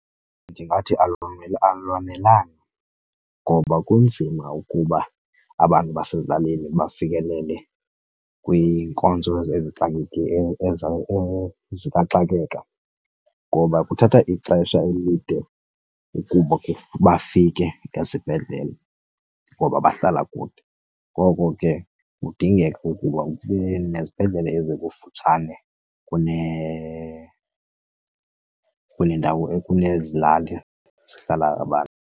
Ndingathi alwanelanga ngoba kunzima ukuba abantu basezilalini bafikelele kwiinkonzo zikaxakeka ngoba kuthatha ixesha elide ukuba bafike esibhedlele ngoba bahlala kude. Ngoko ke kudingeka ukuba kube nezibhedlele ezikufutshane kuneendawo, kunezi lali zihlala abantu.